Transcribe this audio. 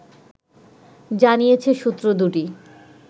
জানিয়েছে সূত্র দুটি